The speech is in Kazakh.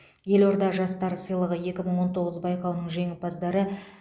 елорда жастары сыйлығы екі мың он тоғыз байқауының жеңімпаздары